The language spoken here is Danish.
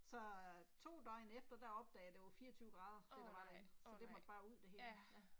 Så øh 2 døgn efter der opdagede jeg det var 24 grader, det der var derinde, så det måtte bare ud det hele, ja